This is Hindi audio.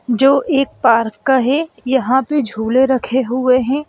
जो एक पार्क का है यहां पे झूले रखे हुए हैं।